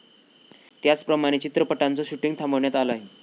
त्याचप्रमाणे चित्रपटांचं शूटिंग थांबवण्यात आलं आहे.